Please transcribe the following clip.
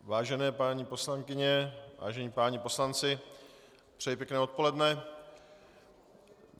Vážené paní poslankyně, vážení páni poslanci, přeji hezké odpoledne.